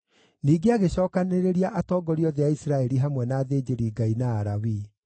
Ningĩ agĩcookanĩrĩria atongoria othe a Isiraeli hamwe na athĩnjĩri-Ngai na Alawii.